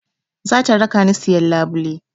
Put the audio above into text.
Za ta raka ni siyan labule